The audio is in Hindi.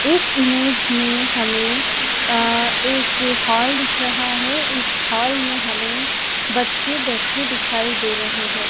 इस इमेज में हमें अह एक हॉल दिख रहा है इस हॉल में हमें बच्चे बैठे दिखाई दे रहे हैं।